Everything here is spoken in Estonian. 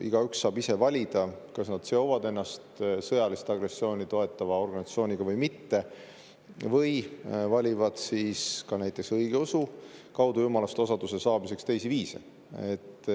Igaüks saab ise valida, kas nad seovad ennast sõjalist agressiooni toetava organisatsiooniga või mitte või valivad siis ka näiteks õigeusu kaudu jumalast osaduse saamiseks teisi viise.